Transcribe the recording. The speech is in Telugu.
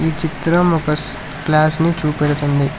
చిత్రం ఒక క్లాస్ ని చూపెడుతుంది.